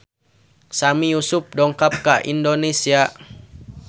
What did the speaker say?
Sami Yusuf dongkap ka Indonesia